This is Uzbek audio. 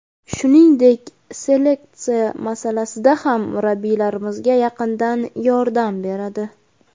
Shuningdek, seleksiya masalasida ham murabbiylarimizga yaqindan yordam beradi.